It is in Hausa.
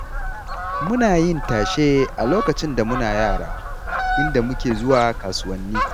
Muna yin tashe a lokacin da muna yara, inda muke zuwa kasuwanni.